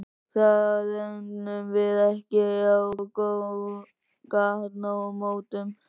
Það ræðum við ekki á gatnamótum.